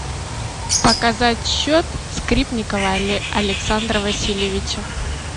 показать счет скрипникова александра васильевича